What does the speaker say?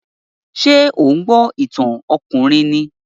Ṣé ò ń gbọ́ ìtàn ọkùnrin ni?